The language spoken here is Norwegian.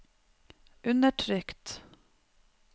undertrykt